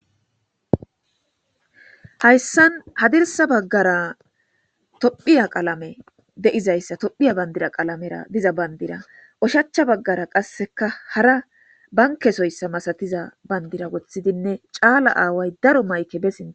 Hayssan hadirssa baggaraa toophiya qalamee de7izayssa toophiya banddira qalameera diza banddira oshachcha baggara qassikka hara bankkezoyssa masathiza banddira woththidinne caala aaway cora mayke be sinthan.